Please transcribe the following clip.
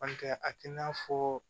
Ntɛ a tɛna fɔ